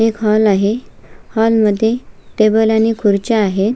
एक हॉल आहे हॉल मध्ये टेबल आणि खुर्च्या आहेत.